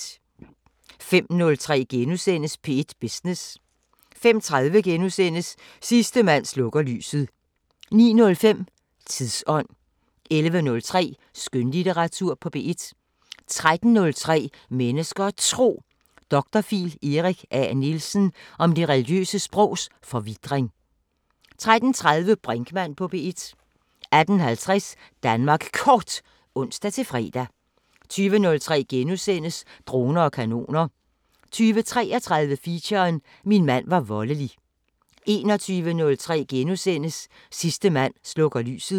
05:03: P1 Business * 05:30: Sidste mand slukker lyset * 09:05: Tidsånd 11:03: Skønlitteratur på P1 13:03: Mennesker og Tro: Dr.phil Erik A. Nielsen om det religiøse sprogs forvitring 13:30: Brinkmann på P1 18:50: Danmark Kort (ons-fre) 20:03: Droner og kanoner * 20:33: Feature: Min mand var voldelig 21:03: Sidste mand slukker lyset *